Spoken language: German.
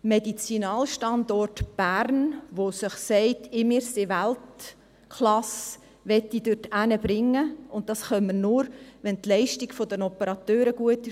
Den Medizinalstandort Bern, der sich sagt, dass er Weltklasse ist, möchte ich dahin bringen, und dies können wir nur, wenn die Leistung der Operateure gut ist.